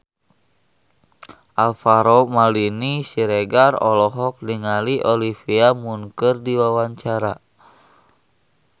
Alvaro Maldini Siregar olohok ningali Olivia Munn keur diwawancara